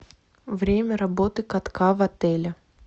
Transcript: время работы катка в отеле